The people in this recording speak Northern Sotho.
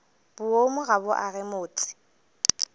boomo ga bo age motse